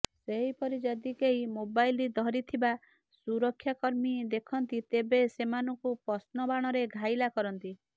ସେହିପରି ଯଦି କେହି ମୋବାଇଲ ଧରିଥିବା ସୁରକ୍ଷାକର୍ମୀ ଦେଖନ୍ତି ତେବେ ସେମାନଙ୍କୁ ପ୍ରଶ୍ନ ବାଣରେ ଘାଇଲା କରନ୍ତି